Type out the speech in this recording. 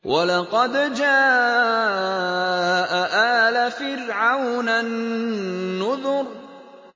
وَلَقَدْ جَاءَ آلَ فِرْعَوْنَ النُّذُرُ